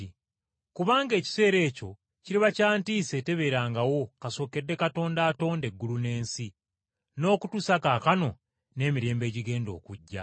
Kubanga ekiseera ekyo kiriba kya kubonyaabonyezebwa okutabeerangawo kasookedde Katonda atonda eggulu n’ensi, n’okutuusa kaakano n’emirembe egigenda okujja.